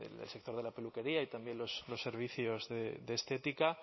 el sector de la peluquería y también los servicios de estética